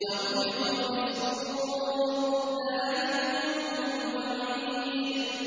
وَنُفِخَ فِي الصُّورِ ۚ ذَٰلِكَ يَوْمُ الْوَعِيدِ